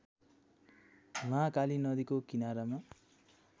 महाकाली नदीको किनारामा